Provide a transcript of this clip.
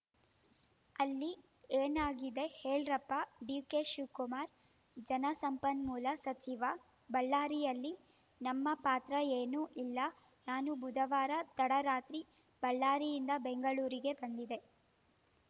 ಅಲ್ಲಿ ಏನಾಗಿದೆ ಹೇಳ್ರಪ್ಪಾ ಡಿಕೆಶಿವಕುಮಾರ್‌ ಜಲಸಂಪನ್ಮೂಲ ಸಚಿವ ಬಳ್ಳಾರಿಯಲ್ಲಿ ನಮ್ಮ ಪಾತ್ರ ಏನೂ ಇಲ್ಲ ನಾನು ಬುಧವಾರ ತಡರಾತ್ರಿ ಬಳ್ಳಾರಿಯಿಂದ ಬೆಂಗಳೂರಿಗೆ ಬಂದಿದೆ